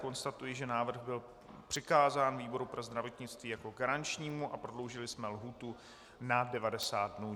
Konstatuji, že návrh byl přikázán výboru pro zdravotnictví jako garančnímu a prodloužili jsme lhůtu na 90 dnů.